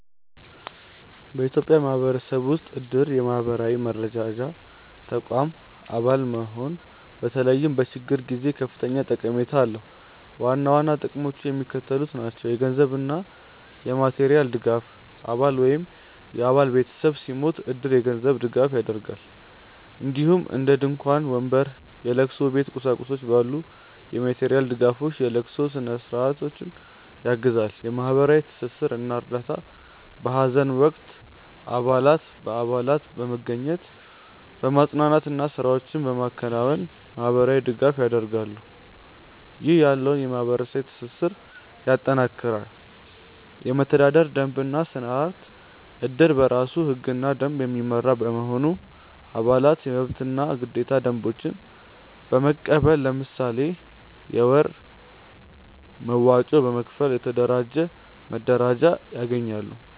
በኢትዮጵያ ማህበረሰብ ውስጥ እድር (የማህበራዊ መረዳጃ ተቋም) አባል መሆን በተለይም በችግር ጊዜ ከፍተኛ ጠቀሜታ አለው። ዋና ዋና ጥቅሞቹ የሚከተሉት ናቸው - የገንዘብ እና የማቴሪያል ድጋፍ: አባል ወይም የአባል ቤተሰብ ሲሞት እድር የገንዘብ ድጋፍ ያደርጋል፣ እንዲሁም እንደ ድንኳን፣ ወንበር፣ የለቅሶ ቤት ቁሳቁሶች ባሉ የማቴሪያል ድጋፎች የለቅሶ ስነ-ስርዓቱን ያግዛል። የማህበራዊ ትስስር እና እርዳታ: በሀዘን ወቅት አባላት በአካል በመገኘት፣ በማፅናናት እና ስራዎችን በማከናወን ማህበራዊ ድጋፍ ያደርጋሉ፣ ይህም ያለውን የማህበረሰብ ትስስር ያጠናክራል። የመተዳደሪያ ደንብ እና ስርአት: እድር በራሱ ህግና ደንብ የሚመራ በመሆኑ፣ አባላት የመብትና ግዴታ ደንቦችን በመቀበል፣ ለምሳሌ የወር መዋጮ በመክፈል፣ የተደራጀ መረዳጃ ያገኛሉ።